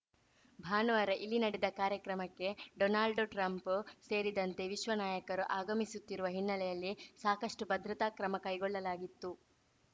ಭಾನುವಾರ ಇಲ್ಲಿ ನಡೆದ ಕಾರ್ಯಕ್ರಮಕ್ಕೆ ಡೊನಾಲ್ಡ್‌ ಟ್ರಂಪ್‌ ಸೇರಿದಂತೆ ವಿಶ್ವ ನಾಯಕರು ಆಗಮಿಸುತ್ತಿರುವ ಹಿನ್ನೆಲೆಯಲ್ಲಿ ಸಾಕಷ್ಟುಭದ್ರತಾ ಕ್ರಮ ಕೈಗೊಳ್ಳಲಾಗಿತ್ತು